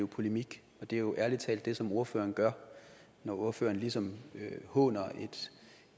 polemik og det er jo ærlig talt det som ordføreren gør når ordføreren ligesom håner